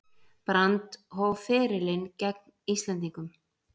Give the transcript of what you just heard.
Brand hóf ferilinn gegn Íslendingum